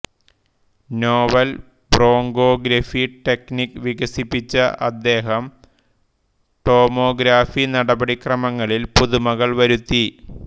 novel bronchography technique വികസിപ്പിച്ച അദ്ദേഹം tomography നടപടിക്രമങ്ങളിൽ പുതുമകൾ വരുത്തി